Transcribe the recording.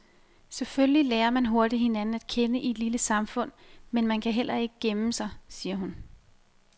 Selvfølgelig lærer man hurtigt hinanden at kende i et lille samfund, men man kan heller ikke gemme sig, siger hun.